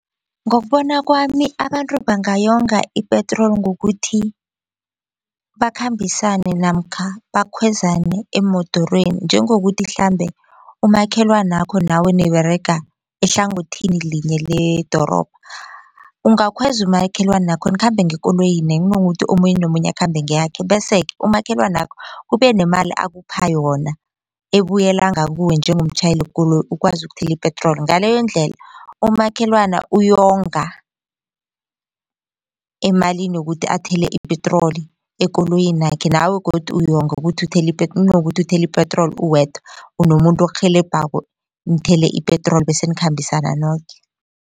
Ngokubona kwami abantu bangayonga ipetroli ngokuthi bakhambisane namkha bakhwezane emodorweni. Njengokuthi mhlambe umakhelwanakho nawe niberega ehlangothini linye ledorobha ungakhweza umakhelwanakho nikhambe ngekoloyini kunokuthi omunye nomunye akhambe ngeyakhe. Bese-ke umakhelwanakho kube nemali akupha yona ebuyela ngakuwe njengomtjhayeli wekoloyi ukwazi ukuthola ipetroli. Ngaleyondlela umakhelwani uyalonga emalini yokuthi athele ipetroli ekoloyinakhe nawe godu uyonga ukuthi uthele ipetroli nokuthi uthela ipetroli uwedwa unomuntu okurhelebhako nithele ipetroli bese nikhambisana noke.